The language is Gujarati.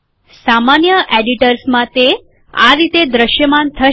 સામાન્ય એડિટર્સમાં તે આ રીતે દ્રશ્યમાન થશે